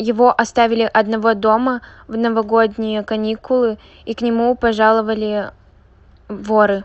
его оставили одного дома в новогодние каникулы и к нему пожаловали воры